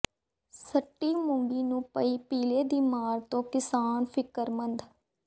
ਸੱਠੀ ਮੂੰਗੀ ਨੂੰ ਪਈ ਪੀਲੇ ਦੀ ਮਾਰ ਤੋਂ ਕਿਸਾਨ ਫ਼ਿਕਰਮੰਦ